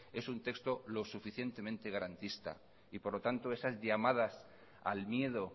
es un texto lo suficientemente garantista y por lo tanto esas llamadas al miedo